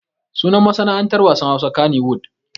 Sunan masana'antar wasan Hausa kaniwud.